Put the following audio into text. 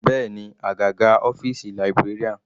Bẹ́ẹ̀ni, àgàgà ọ́fìsì librarian.